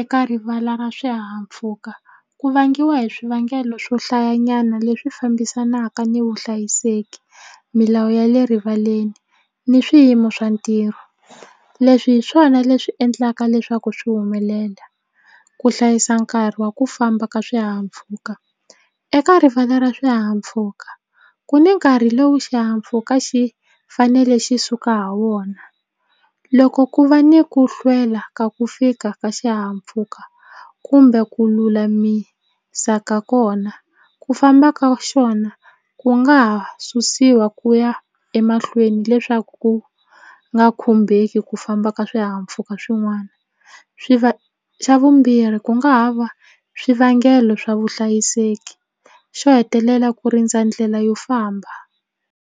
eka rivala ra swihahampfuka ku vangiwa hi swivangelo swohlayanyana leswi fambisanaka ni vuhlayiseki milawu ya le rivaleni ni swiyimo swa ntirho leswi hi swona leswi endlaka leswaku swi humelela ku hlayisa nkarhi wa ku famba ka swihahampfhuka eka rivala ra swihahampfuka ku ni nkarhi lowu xihahampfhuka xi fanele xi suka ha wona loko ku va ni ku hlwela ka ku fika ka xihahampfuka kumbe ku lulamisa ka kona ku famba ka xona ku nga ha susiwa ku ya emahlweni leswaku ku nga khumbeki ku famba ka swihahampfhuka swin'wana xa vumbirhi ku nga ha va swivangelo swa vuhlayiseki xo hetelela ku rindza ndlela yo famba.